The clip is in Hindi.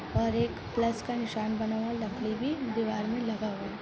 और एक प्लस का नीसान बना हुआ लकड़ी भी दीवाल मे लगा हुआ है।